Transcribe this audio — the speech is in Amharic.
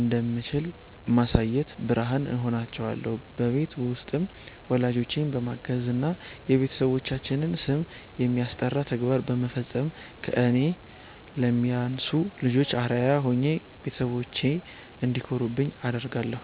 እንደምችል በማሳየት ብርሃን እሆናቸዋለሁ። በቤት ውስጥም ወላጆቼን በማገዝና የቤተሰባችንን ስም የሚያስጠራ ተግባር በመፈጸም ከእኔ ለሚያንሱ ልጆች አርአያ ሆኜ ቤተሰቦቼ እንዲኮሩብኝ አደርጋለሁ።